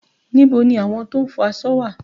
Níbo ni àwọn tó ń fọ aṣọ wà?